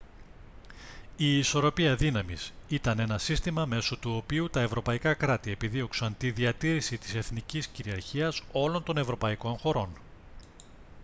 η ισορροπία δύναμης ήταν ένα σύστημα μέσω του οποίου τα ευρωπαϊκά κράτη επιδίωξαν τη διατήρηση της εθνικής κυριαρχίας όλων των ευρωπαϊκών χωρών